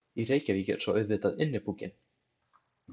Í Reykjavík er svo auðvitað Innipúkinn.